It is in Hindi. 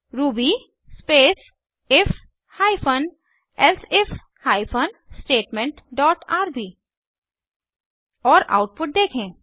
Ruby space if hyphen elsif hyphen statement dot RB और आउटपुट देखें